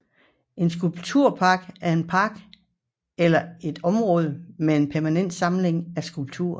En skulpturpark er en park eller et område med en permanent samling af skulpturer